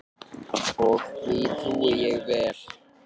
Og því trúi ég vel.